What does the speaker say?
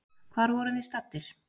Hvar vorum við staddir?